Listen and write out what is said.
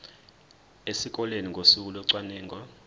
esikoleni ngosuku locwaningo